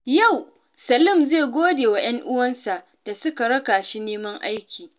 Yau, Salim zai gode wa ‘yan’uwansa da suka raka shi neman aiki.